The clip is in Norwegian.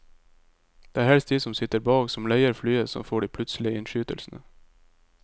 Det er helst de som sitter bak, som leier flyet, som får de plutselige innskytelsene.